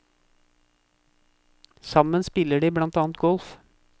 Sammen spiller de blant annet golf.